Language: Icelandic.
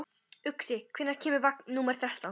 Uxi, hvenær kemur vagn númer þrettán?